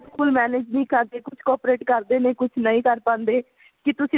ਕੁੱਝ manage ਵੀ ਕਰਦੇ ਹੈ ਕੁੱਝ coprate ਕਰਦੇ ਨੇ ਕੁੱਝ ਨਹੀਂ ਕਰ ਪਾਂਦੇ ਕੀ ਤੁਸੀਂ